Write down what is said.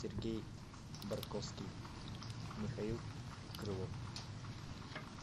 сергей барковский михаил крылов